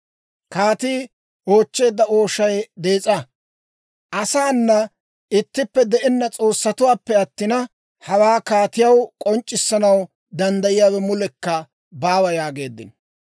Kaatii oochcheedda ooshay dees'a; asaana ittippe de'enna s'oossatuwaappe attina, hawaa kaatiyaw k'onc'c'issanaw danddayiyaawe mulekka baawa» yaageeddino.